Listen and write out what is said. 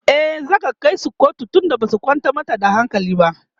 e zata kaisu kotu tun da Basu kwantar mata da hankali ba